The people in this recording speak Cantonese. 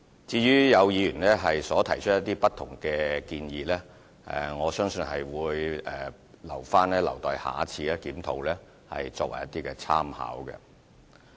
至於有議員提出不同的建議，我相信會留為以後檢討的參考。